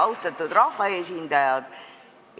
Austatud rahvaesindajad!